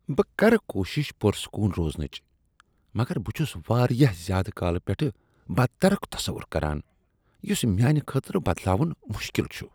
بہٕ کرٕ کوٗشش پرسکون روزنٕچ مگر بہٕ چھس واریاہ زیادٕ کالہٕ پیٹھہٕ بدترک تصور کران یُس میانِہ خٲطرٕ بدلاون مشکل چھُ۔